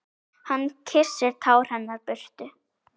Hann kyssir tár hennar burtu.